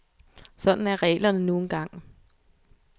Sådan er reglerne nu engang.